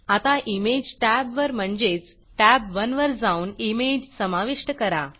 आता Imageइमेज टॅबवर म्हणजेच तब1 वर जाऊन इमेज समाविष्ट करा